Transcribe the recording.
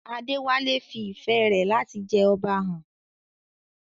Adewale fi ìfẹ́ rẹ̀ láti jẹ Ọba hàn.